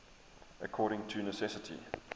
according to necessity